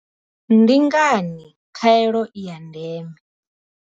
Ndi ngani khaelo i ya ndeme?